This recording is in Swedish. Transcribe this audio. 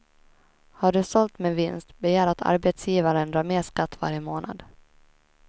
Har du sålt med vinst, begär att arbetsgivaren drar mer skatt varje månad.